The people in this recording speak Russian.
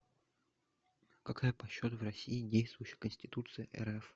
какая по счету в россии действующая конституции рф